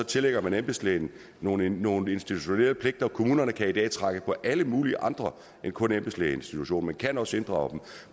tillægger man embedslægen nogle nogle institutionelle pligter kommunerne kan i dag trække på alle mulige andre end kun embedslægeinstitutionen men kan også inddrage den